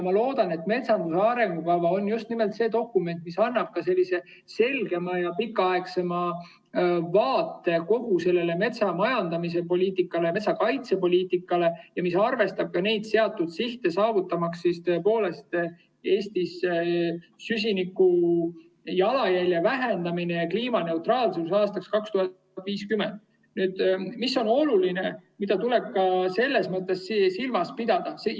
Ma loodan, et metsanduse arengukava on just nimelt see dokument, mis annab sellise selgema ja pikaaegsema vaate kogu metsamajandamise poliitikale ja metsakaitsepoliitikale ning mis arvestab ka seatud sihte, saavutamaks tõepoolest Eestis süsinikujalajälje vähenemine ja kliimaneutraalsus aastaks 2050. Mis on oluline, mida tuleb ka selles mõttes silmas pidada?